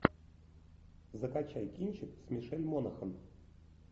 закачай кинчик с мишель монахэн